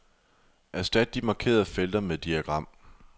Erstat de markerede felter med diagram.